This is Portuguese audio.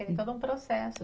É todo um processo.